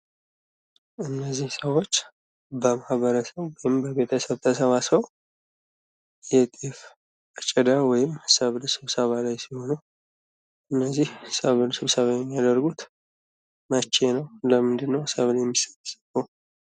እነዚህ ሰዎች በማህበረሰብ ተሰባስበው የጤፍ አጨዳ ወይም ሰብል ስብሰባ ላይ ሲሆኑ ፤ እነዚህ ሰብል ስብሰባ የሚያደርጉት መቼ ነው? ለምንድነው ሰብል የሚሰበሰበው?